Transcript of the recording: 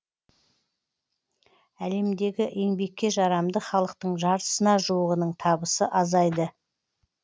әлемдегі еңбекке жарамды халықтың жартысына жуығының табысы азайды